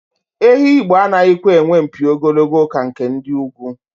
Ehi Igbo anaghịkwa enwe mpi ogologo ka nke ndị ugwu.